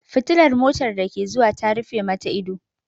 Fitilar motar da ke zuwa ta rufe mata ido.